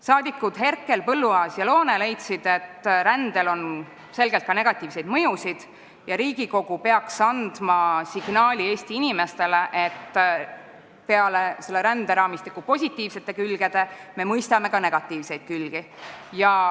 Saadikud Herkel, Põlluaas ja Loone leidsid, et rändel on selgelt ka negatiivseid mõjusid ja Riigikogu peaks andma Eesti inimestele signaali, et me mõistame peale selle ränderaamistiku positiivsete külgede ka negatiivseid külgi.